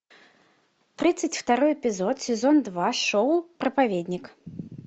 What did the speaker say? тридцать второй эпизод сезон два шоу проповедник